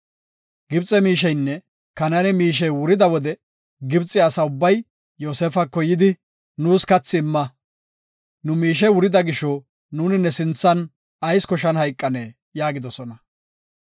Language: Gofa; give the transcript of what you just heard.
Gibxe miisheynne Kanaane miishey wurida wode Gibxe asa ubbay Yoosefako yidi “Nuus kathi imma. Nu miishey wurida gisho nuuni ne sinthan ayis koshan hayqanee?” yaagidosona.